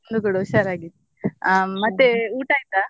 ನಾನು ಕೂಡ ಹುಷಾರಾಗಿ ಅಹ್ ಮತ್ತೆ ಊಟ ಆಯ್ತಾ?